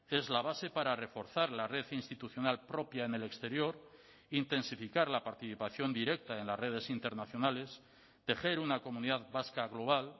es la base para reforzar la red institucional propia en el exterior intensificar la participación directa en las redes internacionales tejer una comunidad vasca global